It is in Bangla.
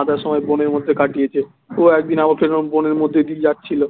আধা সময় বনের মধ্যে কাটিয়েছে ও একদিন আবার সেরকম বনের মধ্যে দিয়ে যাচ্ছিলো